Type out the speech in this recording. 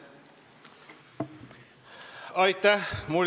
Aitäh!